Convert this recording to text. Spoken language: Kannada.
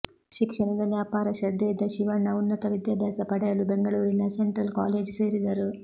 ಶಿಕ್ಷಣದಲ್ಲಿ ಅಪಾರ ಶ್ರದ್ಧೆಯಿದ್ದ ಶಿವಣ್ಣ ಉನ್ನತ ವಿದ್ಯಾಭ್ಯಾಸ ಪಡೆಯಲು ಬೆಂಗಳೂರಿನ ಸೆಂಟ್ರಲ್ ಕಾಲೇಜು ಸೇರಿದರು